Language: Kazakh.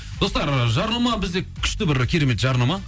достар жарнама бізде күшті бір керемет жарнама